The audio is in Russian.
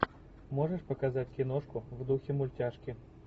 можешь показать киношку в духе мультяшки